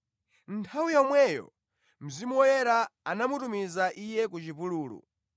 Nthawi yomweyo Mzimu Woyera anamutumiza Iye ku chipululu,